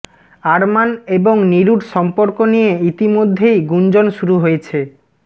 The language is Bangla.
আরমান এবং নিরুর সম্পর্ক নিয়ে ইতিমধ্যেই গুঞ্জন শুরু হয়েছে